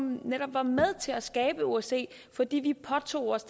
netop var med til at skabe osce fordi vi påtog os